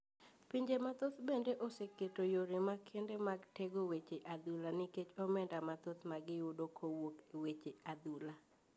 Pinje mathoth bende oseketo yore makende mag tego weche adhula nikech omenda mathoth ma giyudo kowuok e weche adhula.